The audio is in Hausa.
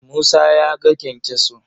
Musa ya ga kyankyaso.